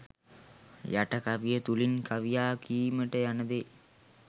යට කවිය තුළින් කවියා කීමට යන දේ